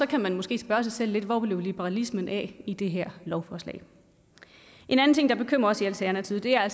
kan man måske spørge sig selv hvor liberalismen blev i det her lovforslag en anden ting der bekymrer os i alternativet er